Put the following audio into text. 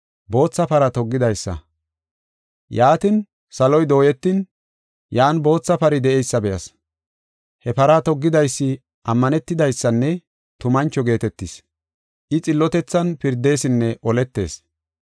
Yaatin, saloy dooyetin, yan bootha pari de7eysa be7as. He para toggidaysi Ammanetidaysanne Tumancho geetetees. I xillotethan pirdesinne oletees.